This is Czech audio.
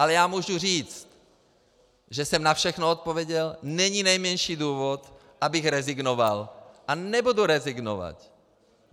A já můžu říct, že jsem na všechno odpověděl, není nejmenší důvod, abych rezignoval, a nebudu rezignovat.